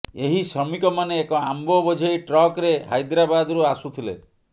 ଏହି ଶ୍ରମିକମାନେ ଏକ ଆମ୍ବ ବୋଝେଇ ଟ୍ରକ୍ରେ ହାଇଦ୍ରାବାଦରୁ ଆସୁଥିଲେ